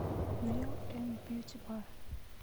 нэйл энд бьютибар